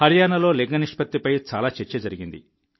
హర్యానాలో లింగ నిష్పత్తిపై చాలా చర్చ జరిగింది